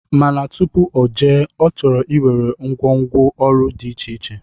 Mana tụpụ ojee, ọ chọrọ iwere ngwo ngwo ọrụ dị iche iche.